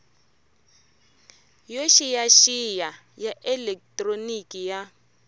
yo xiyaxiya ya elekitroniki ya